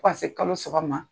Fo ka se kalo saba ma